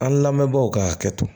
An lamɛnbagaw ka hakɛ to